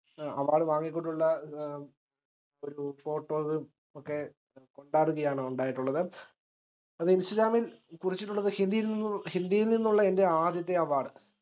award വാങ്ങിക്കൊണ്ടുള്ള ഏഹ് ഒരു photos ഒക്കെ കൊണ്ടാടുകയാണ് ഉണ്ടായിട്ടുള്ളത് അത് ഇന്സ്റ്റഗ്രംമിൽ കുറിച്ചിട്ടുള്ളത് ഹിന്ദിയിൽ നിന്നും ഹിന്ദിയിൽ നിന്നുള്ള എന്റെ ആദ്യത്തെ award